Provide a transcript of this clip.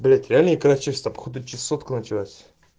блять реальное икра чешется по-ходу чесотка началась